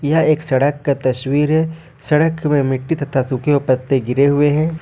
यह एक सड़क का तस्वीर है सड़क में मिट्टी तथा सूखे हुए पत्ते गिरे हुए हैं।